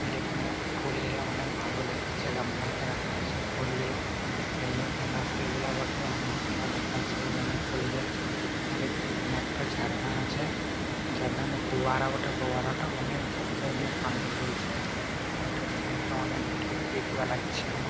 এর এইখানে ফুল গুলো অনকে ভালো দেখাচ্ছে | গামলা তে রাখা আছে ফুল গিলা এই গেন্দা ফুল গিলা বটে অনেক ভালো দেখাচ্ছে | গেন্দা ফুল গিলা এইখানে একটা ঝর্না আছে ঝর্না না ফুয়ার্রা বটে ফুয়ার্রা অনেক ধুর লে পানি ফেলছে | এইটার সিন -টা অনেক ভালো প্রিয় লাগছে আমার ।